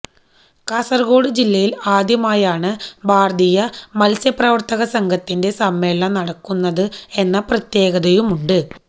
കാസര്കോട് ജില്ലയില് ആദ്യമായാണ് ഭാരതീയ മത്സ്യപ്രവര്ത്തക സംഘത്തിന്റെ സമ്മേളനം നടക്കുന്നത് എന്ന പ്രത്യേകതയുമുണ്ട്